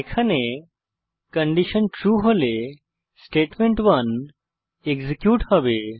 এখানে condition true হলে statement one execute হবে